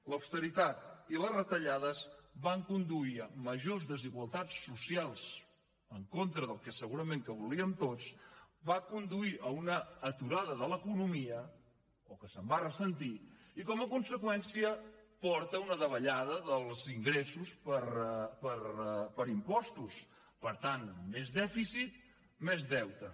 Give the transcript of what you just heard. l’austeritat i les retallades van conduir a majors desigualtats socials en contra del que segurament volíem tots van conduir a un aturada de l’economia o que se’n va ressentir i com a conseqüència porten a una davallada dels ingressos per impostos per tant més dèficit més deute